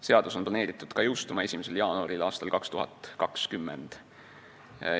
Seadus on planeeritud jõustuma 1. jaanuaril aastal 2020.